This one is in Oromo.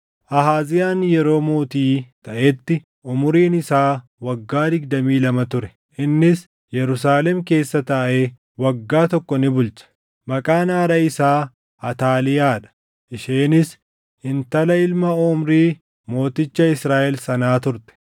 Ahaaziyaan yeroo mootii taʼetti umuriin isaa waggaa digdamii lama ture; innis Yerusaalem keessa taaʼee waggaa tokko ni bulche. Maqaan haadha isaa Ataaliyaa dha; isheenis intala ilma Omrii mooticha Israaʼel sanaa turte.